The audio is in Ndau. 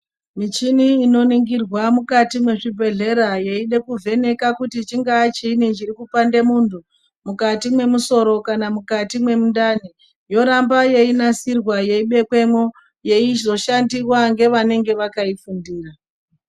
Michini inoningirwa mukati mezvibhedhlera yeida kuvheneka kuti chingaa chinyini chirikupanda muntu, mukati memusoro kana mukati mwemundani, yoramba yeinasirwa yeibekwemo yeizoshandiwa ngevanenge vakaifundira.